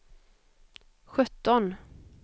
sjutton